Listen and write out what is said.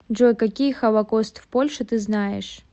джой какие холокост в польше ты знаешь